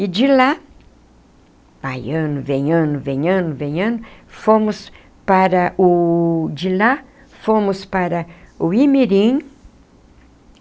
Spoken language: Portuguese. E de lá, vai ano, vem ano, vem ano, vem ano, fomos para o de lá fomos para o Imirim.